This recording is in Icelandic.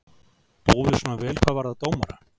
Búum við svona vel hvað varðar dómara?